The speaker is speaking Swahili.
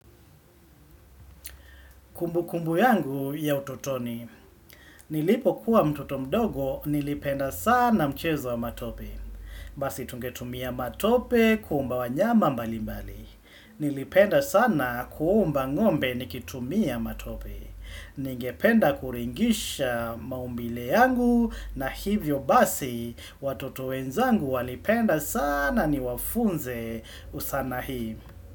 Kumbu kumbu yangu ya ututoni, nilipokuwa mtoto mdogo nilipenda sana mchezo wa matope. Basi tungetumia matope kuumba wanyama mbali mbali. Nilipenda sana kuomba ngombe nikitumia matope. Ningependa kuringisha maumbile yangu na hivyo basi watoto wenzangu walipenda sana niwafunze usana hii.